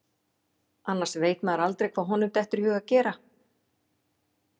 Annars veit maður aldrei hvað honum dettur í hug að gera.